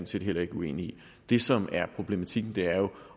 set ikke uenig i det som er problematikken er jo